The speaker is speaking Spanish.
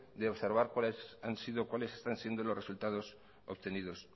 de observar cuáles están siendo los resultados obtenidos